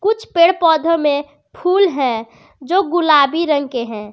कुछ पेड़ पौधों में फूल है जो गुलाबी रंग के हैं।